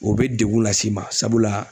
O be degun las'i ma sabula